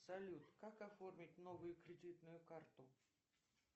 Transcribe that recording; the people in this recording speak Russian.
салют как оформить новую кредитную карту